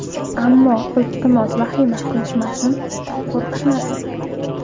Ammo, iltimos vahima qilishmasin, qo‘rqishmasin.